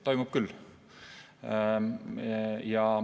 Toimub küll.